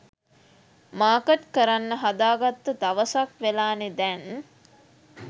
Market කරන්න හදාගත්ත දවසක් වෙලානෙ දැන්.